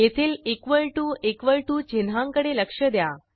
येथील equal to equal to चिन्हांकडे लक्ष द्या